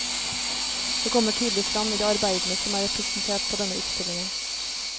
Det kommer tydelig frem i de arbeidene som er representert på denne utstillingen.